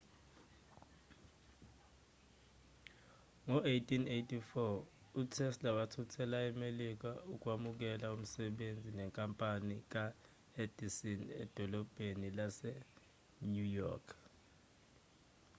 ngo-1884 utesla wathuthela emelika ukwamukela umsebenzi nenkampani ka-edison edolobheni lase-new york